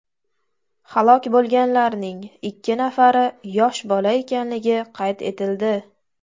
Halok bo‘lganlarning ikki nafari yosh bola ekanligi qayd etildi.